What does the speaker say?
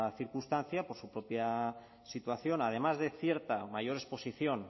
circunstancia por su propia situación además de cierta mayor exposición